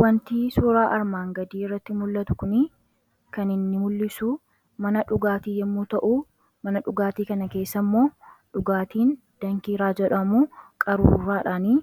wanti suuraa armaan gadii irratti mul'atu kun kaninni mul'isu mana dhugaatii yommuu ta'u mana dhugaatii kana keessa immoo dhugaatiin dankii raajadhamu qaruuraadhaanii